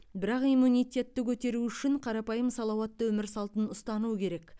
бірақ иммунитетті көтеру үшін қарапайым салауатты өмір салтын ұстану керек